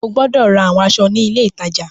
O gbọdọ ra awọn aṣọ ni ile itaja itaja!